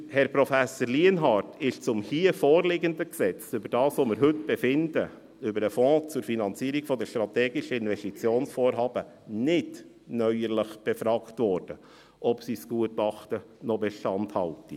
Herr Prof. Lienhard wurde zum hier vorliegenden Gesetz, über das wir heute befinden, über den Fonds zur Finanzierung von strategischen Investitionsvorhaben, neuerlich befragt, ob sein Gutachten noch Bestand habe.